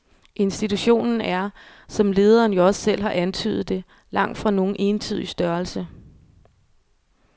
Institutionen er, som lederen jo selv har antydet det, langtfra nogen entydig størrelse.